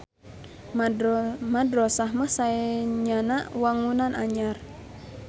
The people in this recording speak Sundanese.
Madrosah mah saenyana wangunan anyar.